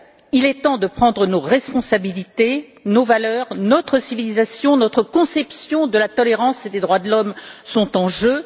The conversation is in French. Il est temps que nous prenions nos responsabilités. Nos valeurs, notre civilisation, notre conception de la tolérance et les droits de l'homme sont en jeu.